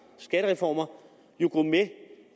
skattereformer